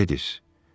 Gledis.